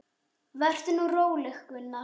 Vertu nú róleg, Gunna, sagði Gústi.